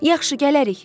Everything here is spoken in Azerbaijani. Yaxşı, gələrik.